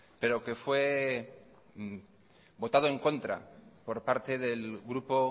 pero que fue votado en contra por parte del grupo